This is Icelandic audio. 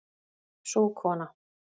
Sú kona